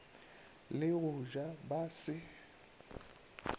le go ja ba se